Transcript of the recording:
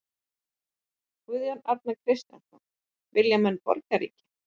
Guðjón Arnar Kristjánsson: Vilja menn borgríki?